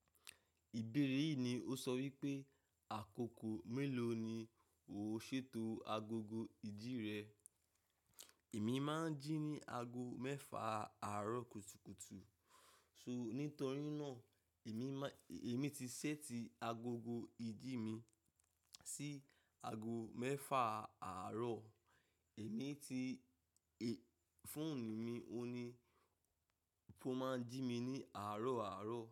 Ìbéèrè yìí ni ó sọ wípé àkókò mélòó ni o ṣètò agogo ìdí rẹ. Èmi máa ń jí ní ago mẹ́fà àárọ̀ kùtùkùtù. So, nítorí náà èmi má, èmi ti ṣẹ́ti agogo ìjí mi sí ago mẹ́fà àárọ̀. Èmi ti, è, fóònù mi òní tó máa ń jí mi ní àárọ̀ àárọ̀